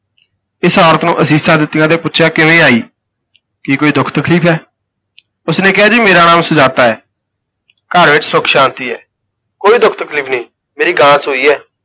ਇਸ ਔਰਤ ਨੂੰ ਅਸੀਸਾਂ ਦਿੱਤੀਆਂ ਤੇ ਪੁੱਛਿਆ ਕਿਵੇਂ ਆਈ ਕੀ ਕੋਈ ਦੁੱਖ ਤਕਲੀਫ ਹੈ ਉਸ ਨੇ ਕਿਹਾ ‘ਜੀ ਮੇਰਾ ਨਾਮ ਸੁਜਾਤਾ ਹੈ, ਘਰ ਵਿਚ ਸੁਖ ਸ਼ਾਂਤੀ ਹੈ, ਕੋਈ ਦੁਖ ਤਕਲੀਫ ਨਹੀਂ, ਮੇਰੀ ਗਾਂ ਸੂਈ ਹੈ।